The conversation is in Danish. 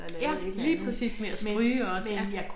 Ja lige præcis med at stryge også ja